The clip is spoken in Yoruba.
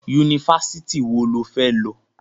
Yunifásitì wo lo fẹ́ lọ?